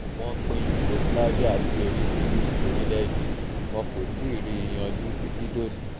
wọ́n pín yugoslavia sí oríṣiríṣiì orílẹ̀-èdè wọn kò tí ì rí i yanjú títí dòní